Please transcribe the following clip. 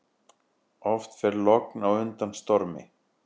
Oft fer logn á undan stormi.